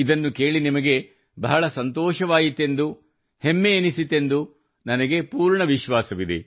ಇದನ್ನು ಕೇಳಿ ನಿಮಗೆ ಬಹಳ ಸಂತೋಷವಾಯಿತೆಂದು ಹೆಮ್ಮೆಯೆನಿಸಿತೆಂದು ನನಗೆ ಪೂರ್ಣ ವಿಶ್ವಾಸವಿದೆ